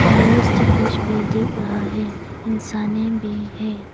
Fire extinguish भी दिख रहा है इंसाने भी है।